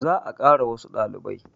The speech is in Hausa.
Za a kara wassu ɗalibai